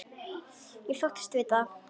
Ég þóttist vita það.